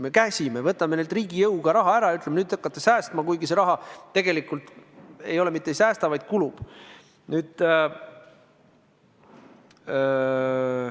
Me käsime, võtame neilt riigi jõuga raha ära, ütleme, et nüüd te hakkate säästma, kuigi seda raha tegelikult ei säästeta, vaid see kulub.